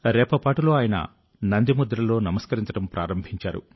రెప్పపాటులో ఆయన నంది ముద్రలో నమస్కరించడం ప్రారంభించారు